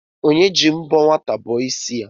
Onye ji mbọ nwata bọọ ịsị ya?